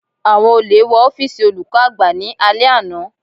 Àwọn olè wọ ọ́fìsì olùkọ́ àgbà ní alẹ́ àná.